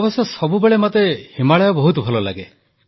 ଅବଶ୍ୟ ସବୁବେଳେ ମୋତେ ହିମାଳୟ ବହୁତ ଭଲ ଲାଗେ